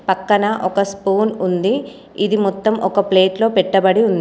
పక్కన ఒక స్పూన్ ఉంది. ఇది మొత్తం ఒక ప్లేట్లో పెట్టబడి ఉంది.